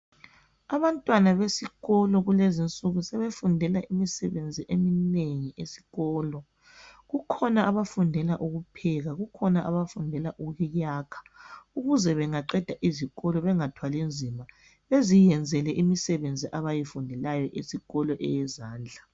Abantwana besikolo kulezinsuku sebefundela imisebenzi eminengi esikolo, kukhona abafundela ukupheka, kukhona abafundela ukuyakha, ukuze bengaqeda izikolo bengathwali nzima, baziyenzele imisebenzi abayifundelayo esikolo eyezandla